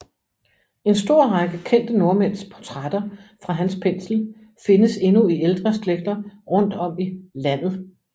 En stor række kendte nordmænds portrætter fra hans pensel findes endnu i ældre slægter rundt om i Landet